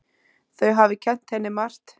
Þau hafi kennt henni margt.